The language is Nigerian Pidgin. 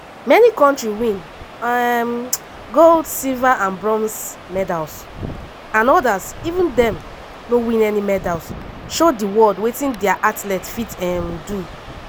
many kontris win um gold silver and bronze medals; and odas even though dem no win any medals show di world wetin dia athletes fit um do.